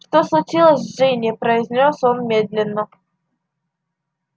что случилось с джинни произнёс он медленно